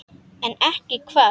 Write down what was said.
En ekki hvað?